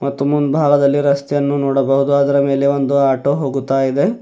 ಮತ್ತು ಮುಂಭಾಗದಲ್ಲಿ ರಸ್ತೆಯನ್ನು ನೋಡಬಹುದು ಅದರ ಮೇಲೆ ಒಂದು ಆಟೋ ಹೋಗುತ್ತಾಯಿದೆ.